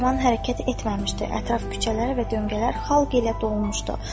Taxt-rəvan hərəkət etməmişdi, ətraf küçələr və döngələr xalq ilə dolmuşdu.